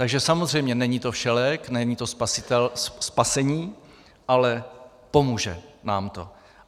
Takže samozřejmě není to všelék, není to spasení, ale pomůže nám to.